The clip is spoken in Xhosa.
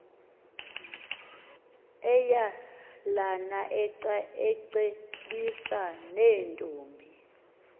eyalana ecebisa neentombi